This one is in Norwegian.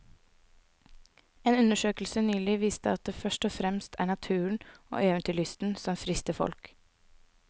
En undersøkelse nylig viste at det først og fremst er naturen og eventyrlysten som frister folk.